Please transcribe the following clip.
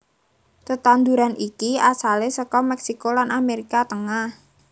Tetanduran iki asalé saka Mèksiko lan Amérika Tengah